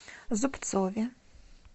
зубцове